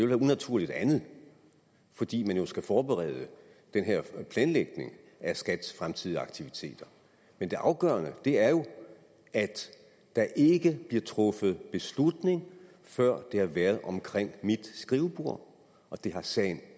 være unaturligt andet fordi man jo skal forberede den her planlægning af skats fremtidige aktiviteter men det afgørende er jo at der ikke bliver truffet beslutning før det har været omkring mit skrivebord og det har sagen